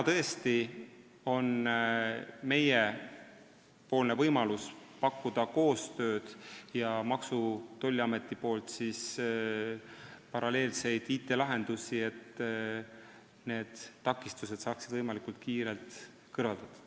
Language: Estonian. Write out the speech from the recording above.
Meil on praegu võimalik pakkuda koostööd ja paralleelseid IT-lahendusi Maksu- ja Tolliametilt, et takistused võimalikult kiirelt kõrvaldada.